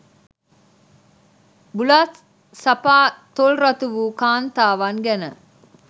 බුලත් සපා තොල් රතු වූ කාන්තාවන් ගැන